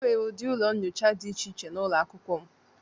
Enwere ụdị ụlọ nyocha dị iche iche n'ụlọ akwụkwọ m.